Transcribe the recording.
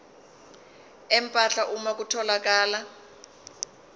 empahla uma kutholakala